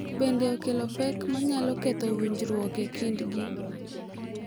Bende, okelo pek ma nyalo ketho winjruok e kindgi.